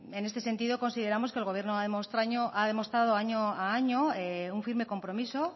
en este sentido consideramos que el gobierno ha demostrado año a año un firme compromiso